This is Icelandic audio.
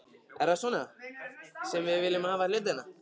Er það svona sem við viljum hafa hlutina?